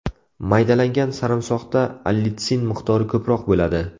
Maydalangan sarimsoqda allitsin miqdori ko‘proq bo‘ladi.